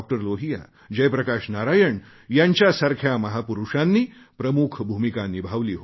लोहिया जयप्रकाश नारायण यांच्यासारख्या महापुरुषांनी प्रमुख भूमिका निभावली होती